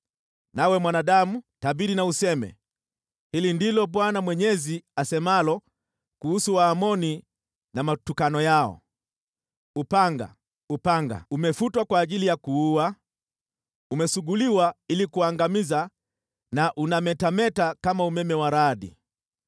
“Nawe, mwanadamu, tabiri na useme, ‘Hili ndilo Bwana Mwenyezi asemalo kuhusu Waamoni na matukano yao. “ ‘Upanga, upanga, umefutwa kwa ajili ya kuua, umesuguliwa ili kuangamiza na unametameta kama umeme wa radi!